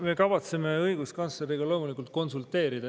Me kavatseme õiguskantsleriga loomulikult konsulteerida.